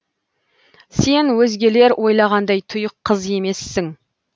сен өзгелер ойлағандай тұйық қыз емессің